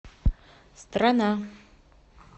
страна